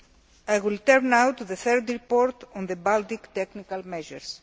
I will turn now to the third report on the Baltic technical measures.